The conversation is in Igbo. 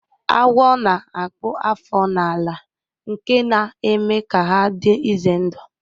Agwo na-akpụ afọ na-ala nke na-eme ka ha dị ize ndụ